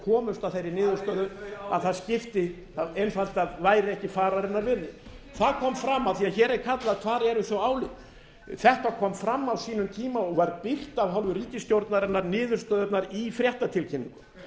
komust að þeirri niðurstöðu hvar er það álit að það einfaldlega væri ekki fararinnar virði það kom fram af því hér er kallað hver eru þau álit þetta kom fram á sínum tíma og var birt af hálfu ríkisstjórnarinnar niðurstöðurnar í fréttatilkynningu mig